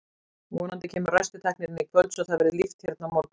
Vonandi kemur ræstitæknirinn í kvöld svo að það verði líft hérna á morgun.